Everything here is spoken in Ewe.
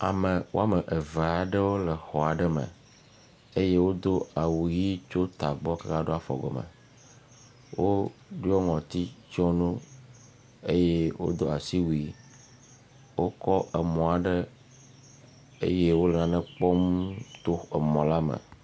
Ame woame eve aɖewo le xɔ aɖe me eye wodo awuʋi tso tagbɔ va ɖo afɔgɔ me, wodo nɔti tsyɔ nu, eye wodo asiwui wokɔ emɔ aɖe eye wole nane kpɔm to emɔ la me.